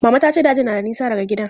Mama ta ce dajin na da nisa daga gidan.